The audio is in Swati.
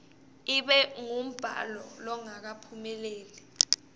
ibe ngumbhalo longakaphumeleli